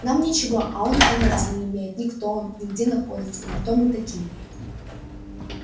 нам ничего а он понятия не имеет ни кто он ни где находится ни кто мы такие